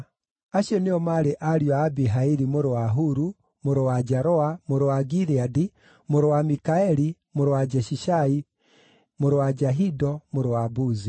Acio nĩo maarĩ ariũ a Abihaili mũrũ wa Huru, mũrũ wa Jaroa, mũrũ wa Gileadi, mũrũ wa Mikaeli, mũrũ wa Jeshishai, mũrũ wa Jahido, mũrũ wa Buzi.